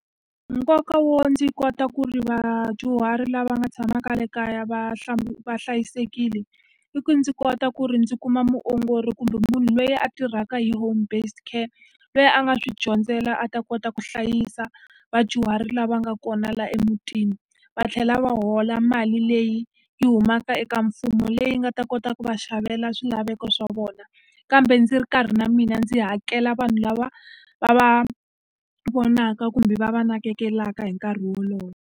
Nkoka wo ndzi kota ku ri vadyuhari lava nga tshamaka le kaya va va hlayisekile, i ku ndzi kota ku ri ndzi kuma muongori kumbe munhu loyi a tirhaka hi home-based care loyi a nga swi dyondzela a ta kota ku hlayisa vadyuhari lava nga kona laha emutini. Va tlhela va hola mali leyi yi humaka eka mfumo, leyi nga ta kota ku va xavela swilaveko swa vona. Kambe ndzi ri karhi na mina ndzi hakela vanhu lava va va vonaka, kumbe va va nakekelaka hi nkarhi wolowo.